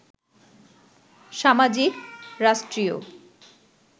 সামাজিক, রাষ্ট্রীয়